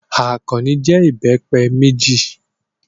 Àkànní jẹ ìbẹ́pẹ méjì.